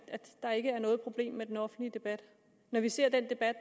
der ikke er noget problem med den offentlige debat når vi ser den debat